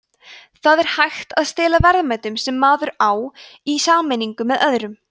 það er hægt að stela verðmætum sem maður á í sameiningu með öðrum